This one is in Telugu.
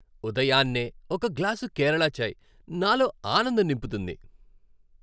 ఉదయాన్నే ఒక గ్లాసు కేరళ చాయ్ నాలో ఆనందం నింపుతుంది.